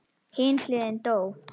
Hin hliðin dó.